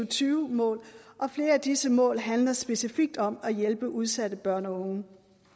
tyve mål og flere af disse mål handler specifikt om at hjælpe udsatte børn og unge